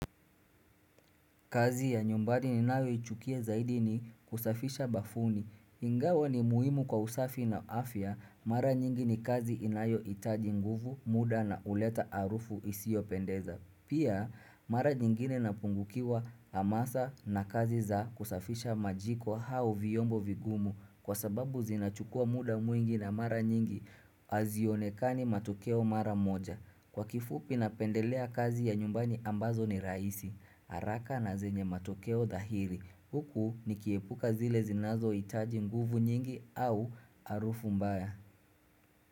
Kazi ya nyumbani ninayo ichukia zaidi ni kusafisha bafuni. Ingawa ni muhimu kwa usafi na afya mara nyingi ni kazi inayo hitaji nguvu muda na uleta harufu isiyo pendeza. Pia mara nyingine napungukiwa hamasa na kazi za kusafisha majiko au vyombo vigumu kwa sababu zinachukua muda mwingi na mara nyingi azionekani matukeo mara moja. Kwa kifupi na pendelea kazi ya nyumbani ambazo ni raisi, haraka na zenye matokeo dahiri, huku nikiepuka zile zinazo hitaji nguvu nyingi au harufu mbaya.